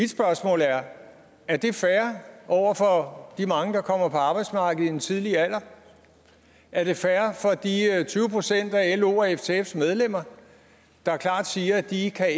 spørgsmål er er det fair over for de mange der kommer på arbejdsmarkedet i en tidlig alder er det fair for de tyve procent af los og ftfs medlemmer der klart siger at de ikke kan